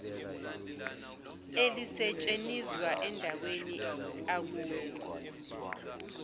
elisetshenizwa endaweni akuyo